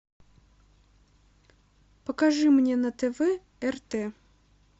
покажи мне на тв рт